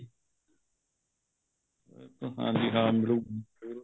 ਹਾਂਜੀ ਹਾਂ ਮਿਲੁਗਾ ਜੀ ਜਰੂਰ